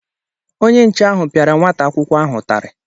Onye nche ahụ pịara nwata akwụkwọ ahụ ụtarị